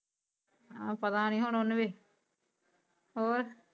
ਆ ਪਤਾ ਨੀ ਹੁਣ ਵੀ ਹੋਰ